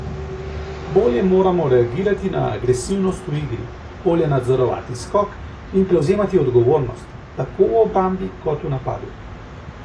Bolje moramo reagirati na agresivnost v igri, bolje nadzorovati skok, in prevzemati odgovornost, tako v obrambi, kot v napadu.